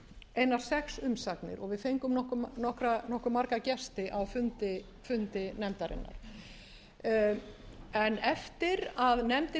einar sex umsagnir og við fengum nokkuð marga gesti á fundi nefndarinnar en eftir að nefndin lauk